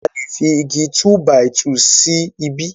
alè fí Igi túbàìtuù sí ìbi